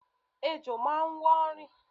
Ejò máa ń wọ́ rìn.